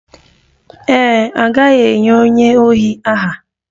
Ee e, a gaghị enye onye ohi aha